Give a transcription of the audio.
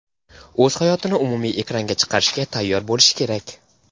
o‘z hayotini umumiy ekranga chiqarishga tayyor bo‘lishi kerak.